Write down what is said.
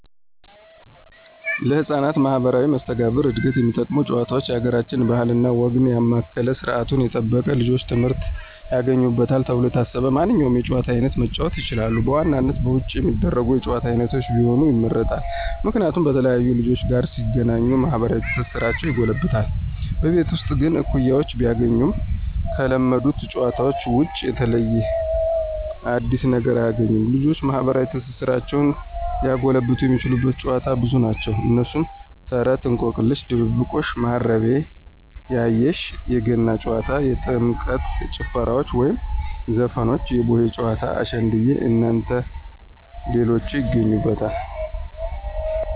ለህፃናት ማህበራዊ መስተጋብር ዕድገት የሚጠቅሙ ጭዋታውች የአገራችንን ባህል እና ወግ ያማከለ ስርዓቱን የጠበቀ ልጆች ትምህርት ያገኙበታል ተብሎ የታሰበውን ማንኛውንም የጨዋታ አይነት መጫወት ይችላሉ። በዋናነት በውጭ የሚደረጉ የጭዋታ አይነቶች ቢሆኑ ይመረጣል። ምክንያቱም በተለያዩ ልጆች ጋር ሲገናኙ ማህበራዊ ትስስራቸው ይጎለብታል። በቤት ውስጥ ግን እኩያወችን ቢያገኙም ከለመዱት ጨዋታዎች ውጭ የተለየ አዲስ ነገር አያግኙም። ልጆችን ማህበራዊ ትስስራቸውን ሊያጎለብት የሚያስችሉ ጨዋታዎች ብዙ ናቸው። እነሱም፦ ተረት፣ እንቆቅልሽ፣ ድብብቆሽ፣ ማሀረቤ ያየሽ፣ የገና ጨዋታ፣ የጥምቀት ጭፈራዎች ወይም ዘፈኖች፣ የቡሄ ጨዋታ፣ አሸንድየ እናንተ ሌሎችን ይገኙበታል።